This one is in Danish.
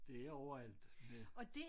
Det er overalt med